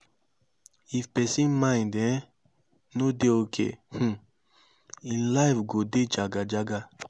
if persin mind um no de okay um im life go de jaga jaga